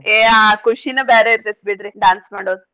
ಏ ಆ ಕುಶಿನ ಬ್ಯಾರೆ ಇರ್ತೇತ್ ಬಿಡ್ರಿ dance ಮಾಡೋದು.